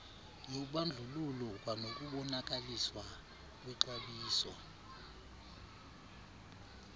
yobandlululo kwanokubonakaliswa kwexabiso